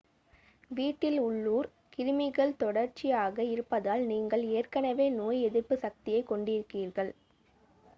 வீட்டில் உள்ளூர் கிருமிகள் தொடர்ச்சியாக இருப்பதால் நீங்கள் ஏற்கனவே நோய் எதிர்ப்புச் சக்தியைக் கொண்டிருக்கிறீர்கள்